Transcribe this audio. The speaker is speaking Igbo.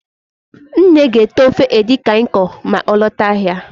Nne ga-ete ofe edikang ikong ma ọ lọta ahịa